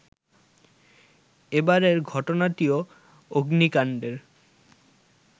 এবারের ঘটনাটিও অগ্নিকাণ্ডের